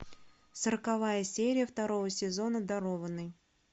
сороковая серия второго сезона дарованный